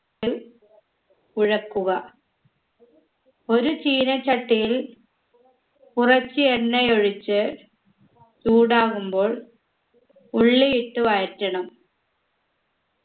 ത്ത് കുഴക്കുക ഒരു ചീനച്ചട്ടിയിൽ കുറച്ച് എണ്ണയൊഴിച്ച് ചൂടാകുമ്പോൾ ഉള്ളിയിട്ട് വഴറ്റണം